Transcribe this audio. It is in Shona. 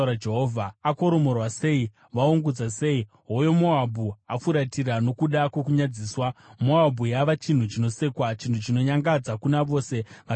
“Akoromorwa sei! Vaungudza sei! Hoyo Moabhu afuratira nokuda kwokunyadziswa! Moabhu yava chinhu chinosekwa, chinhu chinonyangadza kuna vose vakaipoteredza.”